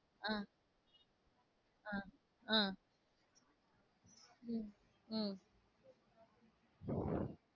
அஹ் அஹ் அஹ் உம்